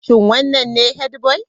Shin wannan ne headboy?